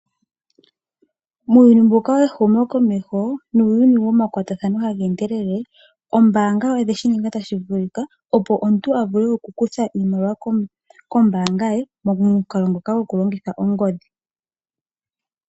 Muuyini mbuka we humo komesho nuuyuni woma kwatathano haga endelele oombaga odhe shi ninga tashi vulika opo omuntu a kuthe iimaliwa kombaanga ye momukalo ngoka ta longitha Ongodhi.